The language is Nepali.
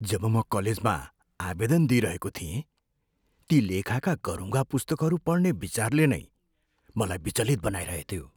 जब म कलेजमा आवेदन दिइरहेको थिएँ, ती लेखाका गह्रुङ्गा पुस्तकहरू पढ्ने विचारले नै मलाई विचलित बनाइरहेथ्यो।